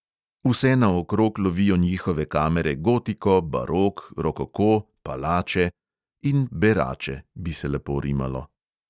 Vsenaokrog lovijo njihove kamere gotiko, barok, rokoko, palače … in berače, bi se lepo rimalo.